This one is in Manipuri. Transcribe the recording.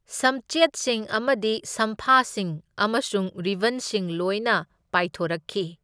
ꯁꯝꯆꯦꯠꯁꯤꯡ ꯑꯃꯗꯤ ꯁꯝꯐꯥꯁꯤꯡ ꯑꯃꯁꯨꯡ ꯔꯤꯕꯟꯁꯤꯡ ꯂꯣꯏꯅ ꯄꯥꯏꯊꯣꯔꯛꯈꯤ꯫